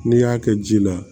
N'i y'a kɛ ji la